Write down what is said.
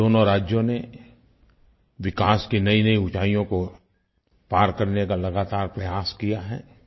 दोनों राज्यों ने विकास की नयीनयी ऊँचाइयों को पार करने का लगातार प्रयास किया है